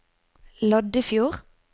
Loddefjord